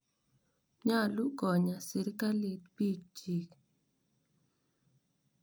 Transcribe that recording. Nyalu konyaa sirikalit piik chiik.